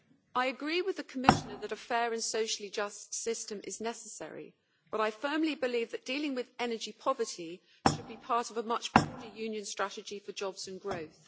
I agree with the Commissioner that a fair and socially just system is necessary, but I firmly believe that dealing with energy poverty should be part of a much broader Union strategy for jobs and growth.